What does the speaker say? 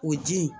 O ji in